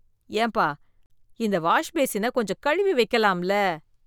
ஏம்பா இந்த வாஷ் பேசின கொஞ்சம் கழுவி வைக்கலாம் ல